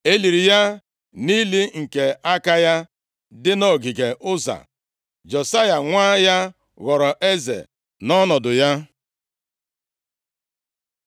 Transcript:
E liri ya nʼili nke aka ya, dị nʼogige Ụza. Josaya nwa ya ghọrọ eze nʼọnọdụ ya.